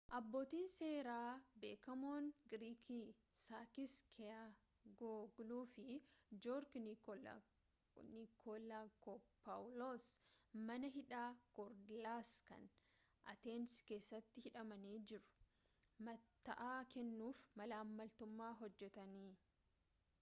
abbootiin seeraa beekamoon giriikii sakis kechaagiyoogluu fi joorji nikolaakopaawuloos mana hidhaa kooriidaalas kan ateensi keessaatti hidhamanii jiru matta’aa kennuuf malaammaltummaa hojjetanii.